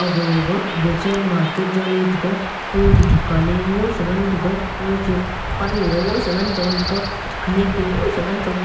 gaga baazer market ja lae tega a dukan a ngoi ae ngan tega akga che pannu a ngan chong tega khenek a mosa ngan chong--